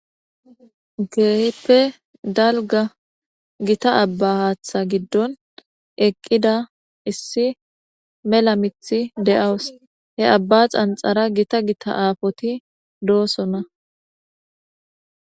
Kehipe dalga gita aba hatha gidon eqida issi mela mithi de'awus he aba xabxara gita gita apoti dosona